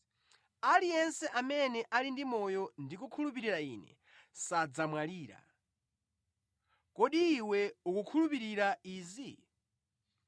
Aliyense amene ali ndi moyo ndi kukhulupirira Ine sadzamwalira. Kodi iwe ukukhulupirira izi?”